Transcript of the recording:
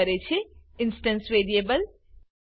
રજૂ કરે છે ઇન્સ્ટેન્સ વેરિયેબલ